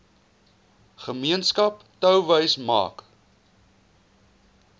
gemeenskap touwys maak